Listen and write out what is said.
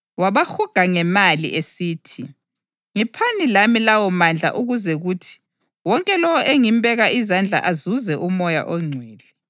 esithi, “Ngiphani lami lawomandla ukuze kuthi wonke lowo engimbeka izandla azuze uMoya oNgcwele.”